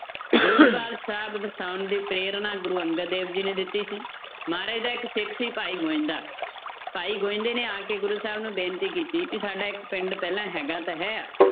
ਗੋਬਿੰਦਵਾਲ ਸਾਹਿਬ ਵਸਾਉਣ ਦੀ ਪ੍ਰੇਰਨਾ ਗੁਰੂ ਅੰਗਦ ਦੇਵ ਜੀ ਨੇ ਦਿੱਤੀ ਸੀ ਮਹਾਰਾਜ ਜੀ ਦਾ ਇੱਕ ਸਿੱਖ ਸੀ ਭਾਈ ਗੋਵਿੰਦਾ ਭਾਈ ਗੋਵਿੰਦੇ ਨੇ ਆ ਕੇ ਗੁਰੂ ਸਾਹਿਬ ਨੂੰ ਬੇਨਤੀ ਕੀਤੀ ਕਿ ਸਾਡਾ ਇੱਕ ਪਿੰਡ ਪਹਿਲਾਂ ਹੈਗਾ ਤਾਂ ਹੈ,